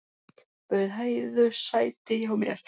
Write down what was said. Bauð Heiðu sæti hjá mér.